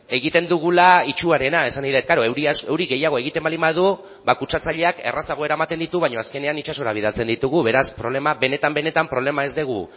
egiten dugula itsuarena esan nahi dut klaro euri gehiago egiten baldin badu ba kutsatzaileak errazago eramaten ditu baina azkenean itsasora bidaltzen ditugu beraz problema benetan benetan problema